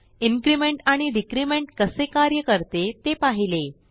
increment आणि decrement कसे कार्य करते ते पाहिले